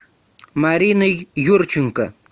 мариной юрченко